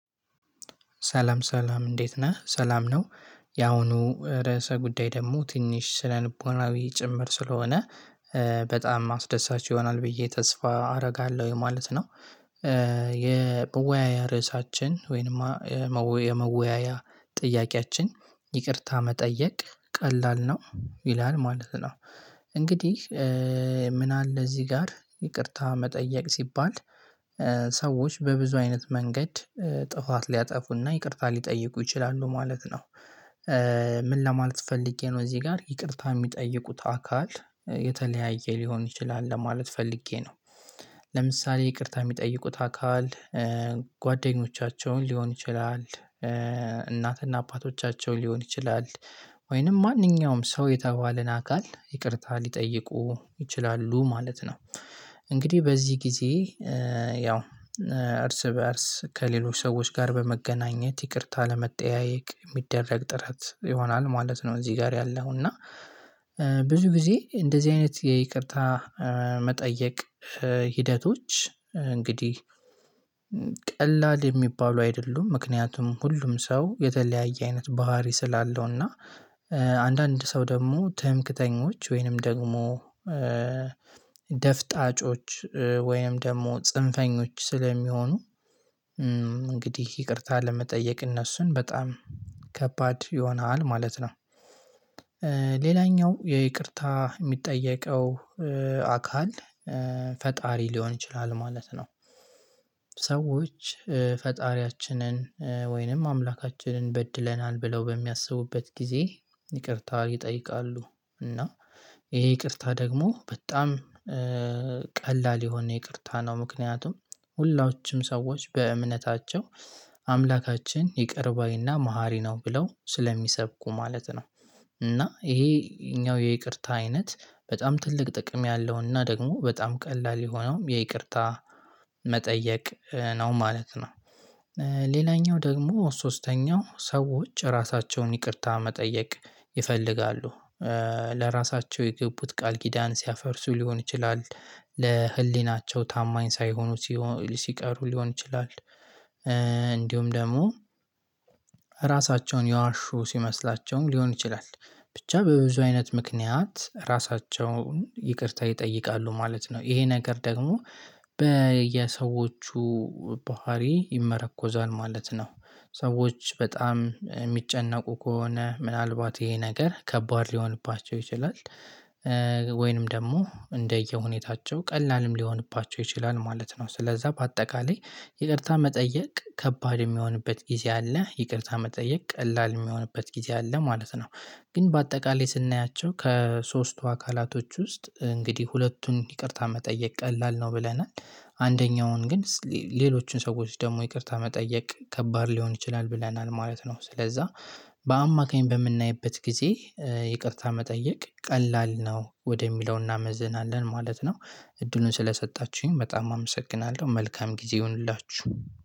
ሰላም ሰላም እንዴት ነህ? ሰላም ነው? ያሁኑ ርዕሰ ጉዳይ ደግሞ ትንሽ ስነ ልቦናዊ ጭምር ስለሆነ በጣም አስደሳች ይሆናል ብዬ ተስፋ አደርጋለሁ ማለት ነው። የመወያያ ርዕሳችን ወይንማ የመወያያ ጥያቄያችን ይቅርታ መጠየቅ ቀላል ነው ይላል ማለት ነው እንግዲህ ምን አለ እዚህ ጋር ይቅርታ መጠየቅ ሲባል ሰዎች በብዙ አይነት መንገድ ጥፋት ሊያጠፉና ይቅርታ ሊጠይቁ ይችላሉ ማለት ነው። ምን ለማለት ፈልጌ ነው እዚህ ጋር ይቅርታ የሚጠይቁት አካል የተለያየ ሊሆን ይችላል ለማለት ፈልጌ ነው ለምሳሌ ይቅርታ የሚጠይቁት አካል ጓደኞቻቸውን ሊሆን ይችላል እናትና አባቶቻቸውን ሊሆን ይችላል ወይንም ማንኛውም ሰው የተባለን አካል ይቅርታ ሊጠይቁ ይችላሉ ማለት ነው። እንግዲህ በዚህ ጊዜ ያው እርስ በእርስ ከሌሎች ሰዎች ጋር በመገናኘት ይቅርታ ለመጠያየቅ የሚደረግ ጥረት ይሆናል ማለት ነው እዚህ ጋር ያለው እና ብዙ ጊዜ እንደዚህ አይነት የይቅርታ መጠየቅ ሂደቶች እንግዲህ ቀላል የሚባለው አይደሉም ምክንያቱም ሁሉም ሰው የተለያየ አይነት ባህሪ ስላለው እና አንዳንድ ሰው ደግሞ ትምክተኞች ወይንም ደግሞ ደፍጣጮች ወይም ደግሞ ጽንፈኞች ስለሚሆኑ እንግዲህ ይቅርታ ለመጠየቅ እነሱን በጣም ከባድ ይሆናል ማለት ነው። ሌላኛው የይቅርታ የሚጠየቀው አካል ፈጣሪ ሊሆን ይችላል ማለት ነው። ሰዎች ፈጣሪያችንን ወይንም አምላካችንን በድለናል ብለው በሚያስቡበት ጊዜ ይቅርታ ይጠይቃሉ እና ይሄ ይቅርታ ደግሞ በጣም ቀላል የሆነ ይቅርታ ነው ምክንያቱም ሁላችንም ሰዎች በእምነታቸው አምላካችን ይቅር ባይና መሃሪ ነው ብለው ስለሚሰብኩ ማለት ነው እና ይሄኛው የይቅርታ አይነት በጣም ትልቅ ጥቅም ያለውና ደግሞ በጣም ቀላል የሆነውም የይቅርታ መጠየቅ ነው ማለት ነው። ሌላኛው ደግሞ ሶስተኛው ሰዎች ራሳቸውን ይቅርታ መጠየቅ ይፈልጋሉ ለራሳቸው የገቡት ቃል ጊዳን ሲያፈርሱ ሊሆን ይችላል ለህሊናቸው ታማኝ ሳይሆኑ ሲቀሩ ሊሆን ይችላል እንዲሁም ደግሞ ራሳቸውን ያዋሹ ሲመስላቸውም ሊሆን ይችላል ብቻ በብዙ አይነት ምክንያት ራሳቸውን ይቅርታ ይጠይቃሉ ማለት ነው ይሄ ነገር ደግሞ በየሰዎቹ ባህሪ ይመረኮዛል ማለት ነው ሰዎች በጣም የሚጨነቁ ከሆነ ምናልባት ይሄ ነገር ከባድ ሊሆንባቸው ይችላል ወይንም ደግሞ እንደየሁኔታቸው ቀላልም ሊሆንባቸው ይችላል ማለት ነው ስለዛ በአጠቃላይ ይቅርታ መጠየቅ ከባድ የሚሆንበት ጊዜ አለ ይቅርታ መጠየቅ ቀላል የሚሆንበት ጊዜ አለ ማለት ነው ግን በአጠቃላይ ስናያቸው ከሶስቱ አካላቶች ውስጥ እንግዲህ ሁለቱን ይቅርታ መጠየቅ ቀላል ነው ብለናል አንደኛውን ግን ሌሎችን ሰዎች ደግሞ ይቅርታ መጠየቅ ከባድ ሊሆን ይችላል ብለናል ማለት ነው ስለዛ በአማካኝ በምናይበት ጊዜ ይቅርታ መጠየቅ ቀላል ነው ወደሚለው እናመዝናለን ማለት ነው እድሉን ስለሰጣችሁኝ በጣም አመሰግናለሁ መልካም ጊዜ ይሁንላችሁ።